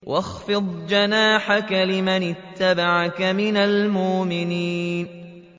وَاخْفِضْ جَنَاحَكَ لِمَنِ اتَّبَعَكَ مِنَ الْمُؤْمِنِينَ